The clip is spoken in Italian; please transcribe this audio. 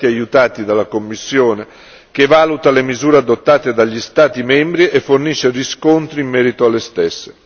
Sono stati aiutati dalla Commissione, che valuta le misure adottate dagli Stati membri e fornisce riscontri in merito alle stesse.